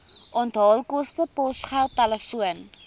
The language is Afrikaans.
onthaalkoste posgeld telefoon